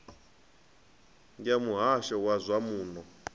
ya muhasho wa zwa muno